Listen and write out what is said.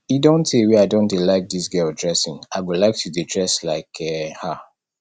e don tee wey i don dey like dis girl dressing i go like to dey dress like um her